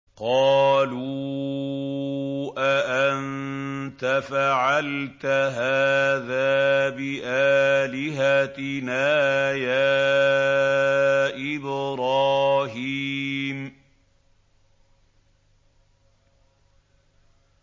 قَالُوا أَأَنتَ فَعَلْتَ هَٰذَا بِآلِهَتِنَا يَا إِبْرَاهِيمُ